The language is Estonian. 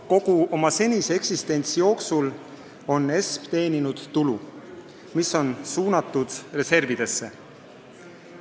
Kogu oma senise eksistentsi jooksul on ESM teeninud tulu, mis on suunatud reservidesse.